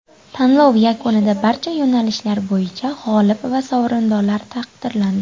Tanlov yakunida barcha yo‘nalishlar bo‘yicha g‘olib va sovrindorlar taqdirlandi.